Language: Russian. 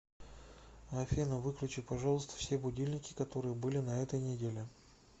афина выключи пожалуйста все будильники которые были на этой неделе